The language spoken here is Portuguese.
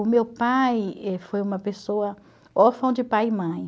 O meu pai foi uma pessoa órfão de pai e mãe.